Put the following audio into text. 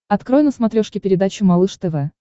открой на смотрешке передачу малыш тв